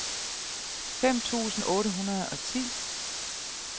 fem tusind otte hundrede og ti